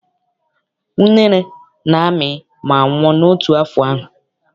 Unere na-amị ma nwụọ n'otu afọ ahụ.